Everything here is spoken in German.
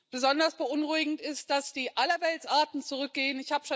Besonders beunruhigend ist, dass die Allerweltsarten zurückgehen.